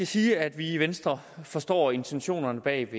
sige at vi i venstre forstår intentionerne bag